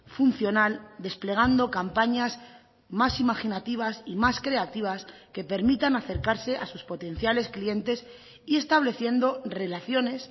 funcional desplegando campañas más imaginativas y más creativas que permitan acercarse a sus potenciales clientes y estableciendo relaciones